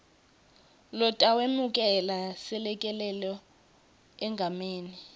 lotawemukela selekelelo egameni